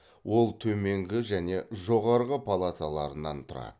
ол төменгі және жоғарғы палаталарынан тұрады